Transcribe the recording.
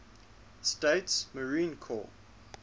states marine corps